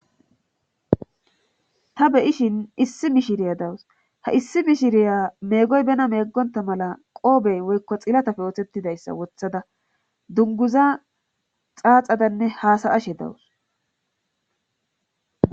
Ta beyishin issi mishiriya dawus ha issi mishiriya meegoy bena meeggonta mala qoobey woykko xilatafe oothettidayssa wothada dunguza xaaxadanne haasayashe dawus